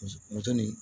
Muso ni